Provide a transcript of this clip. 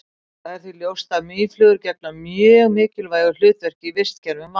það er því ljóst að mýflugur gegna mjög mikilvægu hlutverki í vistkerfum vatna